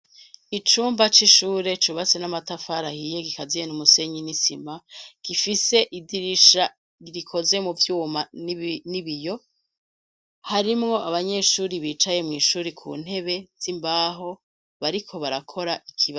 Icumba c'ishure cubatse n'amatafari ahiye gikaziye n'umusenyi n'isima gifise idirisha rikoze mu vyuma n'ibiyo harimwo abanyeshuri bicaye mw'ishuri ku ntebe z'imbaho bariko barakora ikibazo.